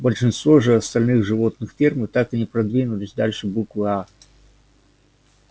большинство же остальных животных фермы так и не продвинулись дальше буквы а